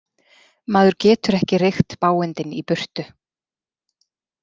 Maður getur ekki reykt bágindin í burtu.